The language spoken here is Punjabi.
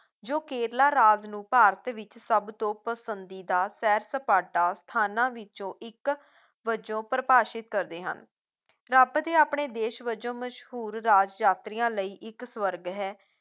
ਜੋ ਕੇਰਲਾ ਰਾਜ ਨੂੰ ਭਾਰਤ ਵਿੱਚ ਸਭਤੋਂ ਪਸੰਦੀਦਾ ਸੈਰ ਸਪਾਟਾ ਸਥਾਨਾਂ ਵਿੱਚੋਂ ਇੱਕ ਵਜੋਂ ਪ੍ਰਭਾਸ਼ਿਤ ਕਰਦੇ ਹਨ ਰੱਬ ਦੇ ਆਪਣੇ ਦੇਸ਼ ਵਜੋਂ ਮਸ਼ਹੂਰ ਰਾਜ ਯਾਤਰੀਆਂ ਲਈ ਇੱਕ ਸਵਰਗ ਹੈ